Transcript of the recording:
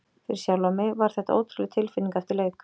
Fyrir sjálfan mig var þetta ótrúleg tilfinning eftir leik.